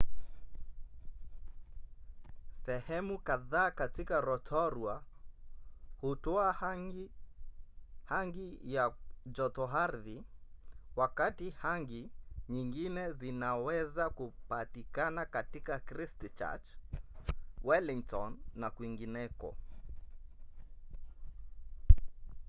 sehemu kadhaa katika rotorua hutoa hangi ya jotoardhi wakati hangi nyingine zinaweza kupatikana katika christchurch wellington na kwingineko